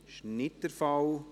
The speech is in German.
– Dies ist nicht der Fall.